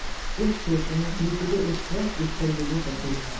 इस क्षेत्र में कृषि के उत्कृष्ट स्तर के लिए प्रसिद्ध है